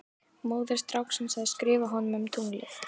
Móðir stráksins hafði skrifað honum um tunglið.